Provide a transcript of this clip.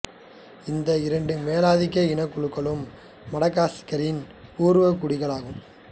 இந்த இரண்டு மேலாதிக்க இனக்குழுக்களும் மடகாஸ்கரின் பூர்வ குடிகள் ஆவார்